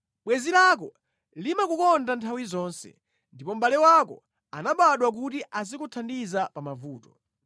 Bwenzi lako limakukonda nthawi zonse, ndipo mʼbale wako anabadwa kuti azikuthandiza pamavuto.